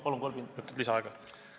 Palun kolm minutit lisaaega!